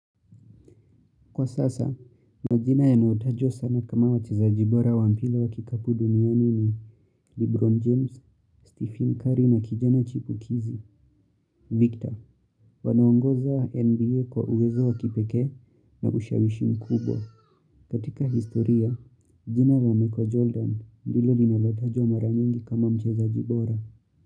Kwa sasa, majina yanayotajwa sana kama wachezaji bora wa mpira wa kikapu duniani ni Lebron James, Stephen Curry na kijana chipukizi, Victor. Wanaongoza NBA kwa uwezo wa kipekee na ushawishi mkubwa. Katika historia, jina la Michael Jordan ndilo linalotajwa mara nyingi kama mchezaji bora.